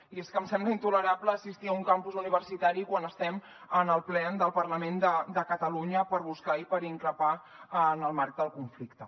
i és que em sembla intolerable assistir a un campus universitari quan estem en el ple del parlament de catalunya per buscar i per increpar en el marc del conflicte